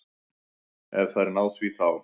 Ef þær ná því þá.